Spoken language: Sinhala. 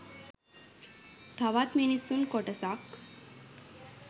තවත් මිනිසුන් කොටසක්